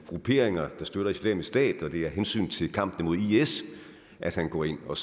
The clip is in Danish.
grupperinger der støtter islamisk stat og det er af hensyn til kampen imod is at han går ind og